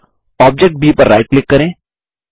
object B पर right click करें